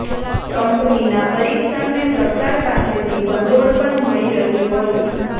કંપનીના પરીક્ષણને સરકાર પાસેથી ભંડોળ પણ મળી રહ્યું હતું